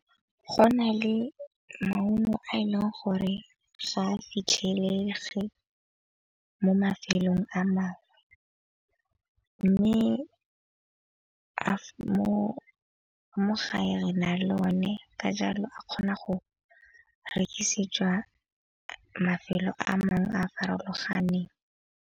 Go na le maungo a e leng gore ga a fitlhelege mo mafelong a mangwe. Mme mo gae re na le o ne ka jalo a kgona go rekisetswa mafelo a mangwe a a farologaneng.